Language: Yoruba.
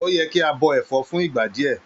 O yẹ kí a bọ ẹfọ fún ìgbà díẹ.